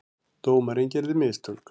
Dómarinn gerði mistök.